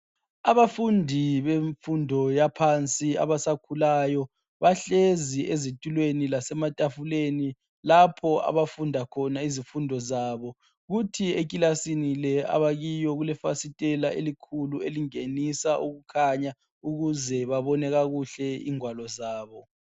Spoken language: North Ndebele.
Abafundi bemfundo yaphansi abasakhulayo bahlezi ezitulweni, lasematafula lapho abafunda khona izifundo zabo. Kuthi ekilasini le abakiyo kulefasitela elikhulu, elingenisa ukukhanya ukuze babone kakuhle ingwalo zabo.